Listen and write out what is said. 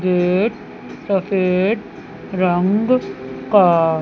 ये एक सफेद रंग का--